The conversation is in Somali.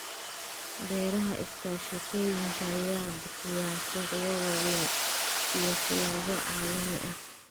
Beeraha iskaashatooyinka ayaa bixiya suuqyo waaweyn iyo silsilado caalami ah.